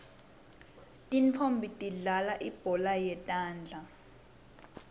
tintfonmbi tidlalal ibhola yetandla